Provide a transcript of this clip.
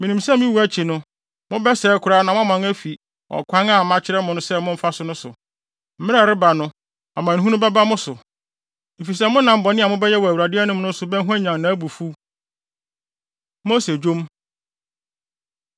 Minim sɛ me wu akyi no, mobɛsɛe koraa na moaman afi ɔkwan a makyerɛ mo sɛ momfa so no so. Mmere a ɛreba no, amanehunu bɛba mo so, efisɛ monam bɔne a mobɛyɛ wɔ Awurade anim no so no bɛhwanyan nʼabufuw.” Mose Dwom